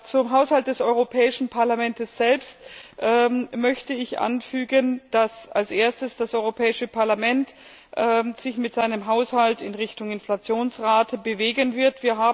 Zum Haushalt des Europäischen Parlaments selbst möchte ich anfügen, dass als erstes das Europäische Parlament sich mit seinem Haushalt in Richtung Inflationsrate bewegen wird.